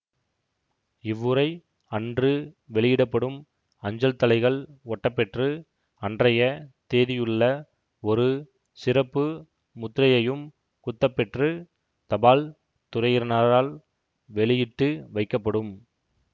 இவ்வுறை அன்று வெளியிட படும் அஞ்சல் தலைகள் ஒட்டப்பெற்று அன்றைய தேதியுள்ள ஒரு சிறப்பு முத்திரையையும் குத்தப்பெற்று தபால் துறையினரால் வெளியிட்டு வைக்கப்படும்